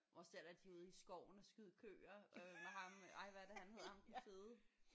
Også der da de er ude i skoven og skyde køer øh med ham ej hvad er det han hedder ham den fede